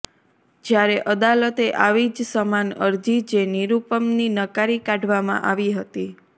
જ્યારે અદાલતે આવી જ સમાન અરજી જે નિરૂપમની નકારી કાઢવામાં આવી હતી